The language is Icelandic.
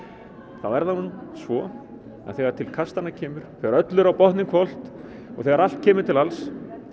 þá er það nú svo að þegar til kastanna kemur þegar öllu er á botninn hvolft og þegar allt kemur til alls